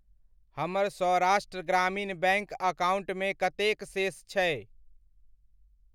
हमर सौराष्ट्र ग्रामीण बैङ्क अकाउण्टमे कतेक शेष छै?